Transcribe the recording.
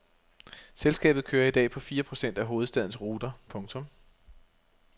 Selskabet kører i dag på fire procent af hovedstadens ruter. punktum